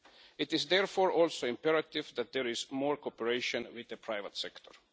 It is therefore also imperative that there is more cooperation with the private sector.